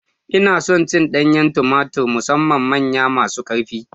Ina son cin danyen tumatur musamman manyan masu ƙarfi